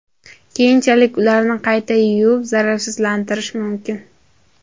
Keyinchalik ularni qayta yuvib, zararsizlantirish mumkin.